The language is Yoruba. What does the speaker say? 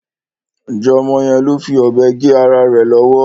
Ọmọ yẹn ló fi ọ̀bẹ gé ara rẹ̀ lọ́wọ́.